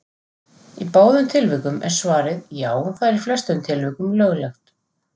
Í báðum tilvikum er svarið: Já, það er í flestum tilvikum löglegt.